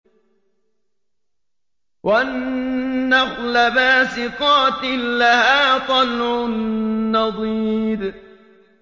وَالنَّخْلَ بَاسِقَاتٍ لَّهَا طَلْعٌ نَّضِيدٌ